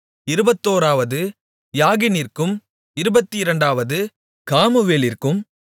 இருபத்தோராவது யாகினிற்கும் இருபத்திரண்டாவது காமுவேலிற்கும்